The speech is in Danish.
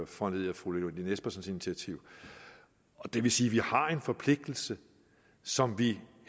foranlediget af fru lene espersens initiativ det vil sige at vi har en forpligtelse som vi